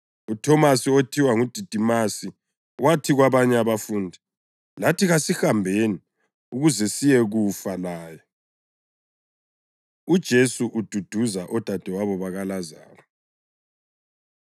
UThomasi (othiwa nguDidimasi) wathi kwabanye abafundi, “Lathi kasihambeni ukuze siyekufa laye.” UJesu Ududuza Odadewabo BakaLazaro